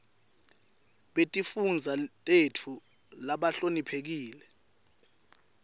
betifundza tetfu labahloniphekile